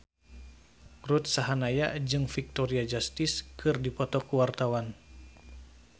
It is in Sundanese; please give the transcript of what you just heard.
Ruth Sahanaya jeung Victoria Justice keur dipoto ku wartawan